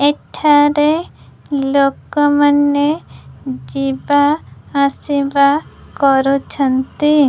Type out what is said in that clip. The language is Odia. ଏଠାରେ ଲୋକ ମାନେ ଯିବା ଆସିବା କରୁଛନ୍ତି।